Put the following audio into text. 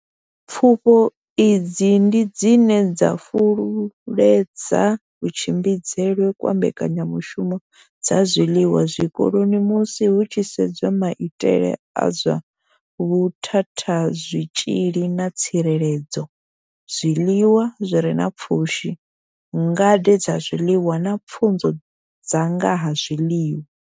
Pfufho idzi ndi dzine dza fhululedza kutshimbidzelwe kwa mbekanyamushumo dza zwiḽiwa zwikoloni musi hu tshi sedzwa maitele a zwa vhuthatha zwitzhili na tsireledzo, zwiḽiwa zwi re na pfushi, ngade dza zwiḽiwa na pfunzo dza nga ha zwiḽiwa.